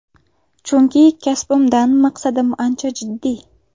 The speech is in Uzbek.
Chunki kasbimdan maqsadim ancha jiddiy.